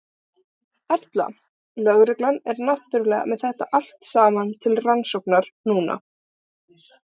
Erla: Lögreglan er náttúrulega með þetta allt saman til rannsóknar núna?